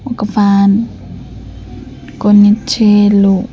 ఒక్క ఫ్యాన్ కొన్ని చైర్లు--